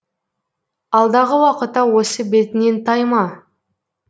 алдағы уақытта осы бетіңнен тайма